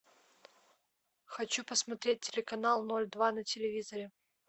хочу посмотреть телеканал ноль два на телевизоре